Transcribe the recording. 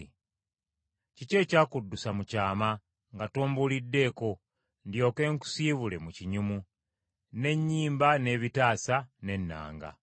Kiki ekyakuddusa mu kyama nga tombuuliddeko, ndyoke, nkusibule mu kinyumu: n’ennyimba, n’ebitaasa, n’ennanga.